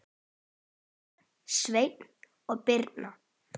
Sjöfn, Sveinn og Birna.